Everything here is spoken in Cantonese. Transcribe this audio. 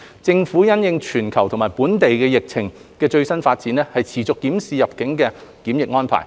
政府因應全球及本地疫情的最新發展，持續檢視入境檢疫安排。